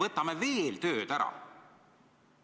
Võtame veel tööd ära!